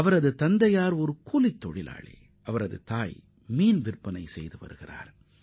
அவரது தந்தை ஒரு சாதாரண தொழிலாளி தாயார் மீன் வியாபாரம் செய்கிறார்